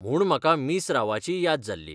म्हूण म्हाका मिस रावाचीय याद जाल्ली